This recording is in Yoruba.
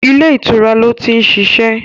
Ilé ìtura lo ti ń ṣiṣẹ́